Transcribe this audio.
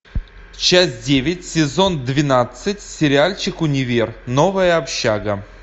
часть девять сезон двенадцать сериальчик универ новая общага